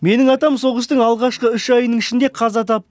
менің атам соғыстың алғашқы үш айының ішінде қаза тапты